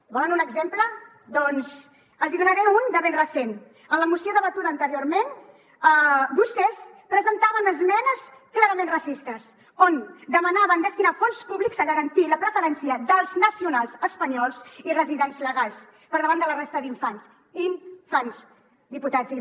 en volen un exemple doncs els n’hi donaré un de ben recent en la moció debatuda anteriorment vostès presentaven esmenes clarament racistes on demanaven destinar fons públics a garantir la preferència dels nacionals espanyols i residents legals per davant de la resta d’infants infantsaplaudiments)